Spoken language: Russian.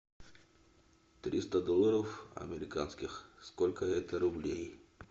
триста долларов американских сколько это рублей